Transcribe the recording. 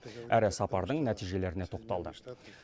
әрі сапардың нәтижелеріне тоқталды